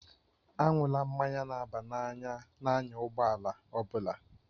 Aṅụla mmanya na-aba n'anya na-anya ụgbọ ala ọ bụla.